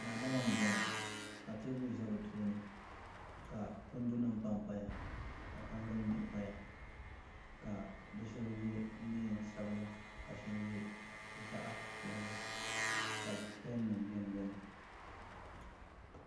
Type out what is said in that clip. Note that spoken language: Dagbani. Daadam n boŋɔ ka teebuli ʒɛ bi tooni ka kundi nima panpaya ka tangali mihi paya ka bi shaba yɛ neensabila ka shaba yɛ zaɣ' piɛlli ka pɛn nima biɛni biɛni